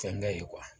Fɛnkɛ ye